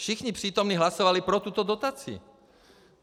Všichni přítomní hlasovali pro tuto dotaci.